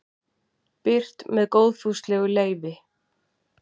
birt með góðfúslegu leyfi